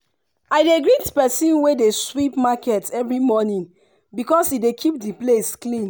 i dey greet persin wey dey sweep market every morning because e dey keep the place clean